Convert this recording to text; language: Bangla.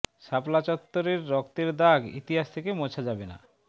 শাপলা চত্বরের রক্তের দাগ ইতিহাস থেকে মোছা যাবে না